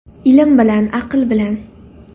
Ilm bilan, aql bilan.